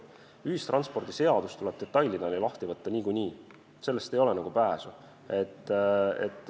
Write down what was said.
Ühistranspordiseadus tuleb detailideni lahti võtta niikuinii, sellest ei ole nagu pääsu.